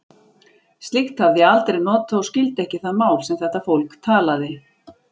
Slíkt hafði ég aldrei notað og skildi ekki það mál, sem þetta fólk talaði.